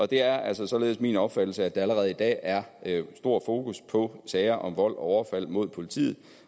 det er altså således min opfattelse at der allerede i dag er stor fokus på sager om vold og overfald mod politiet